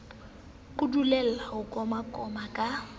o dulele ho komakoma ka